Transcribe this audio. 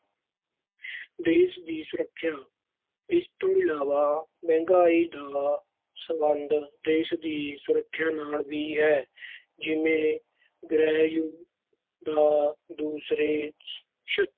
ਦੇਸ਼ ਦੀ ਸੁਰੱਖਿਆ - ਇਸ ਤੋਂ ਇਲਾਵਾ ਮਹਿੰਗਾਈ ਦਾ ਸਬੰਧ ਦੇਸ਼ ਦੀ ਸੁਰੱਖਿਆ ਨਾਲ ਵੀ ਹੈ। ਜਿਵੇਂ ਗ੍ਰਹਿਯੁੱਧ ਜਾਂ ਦੂਸਰੇ ਛਹ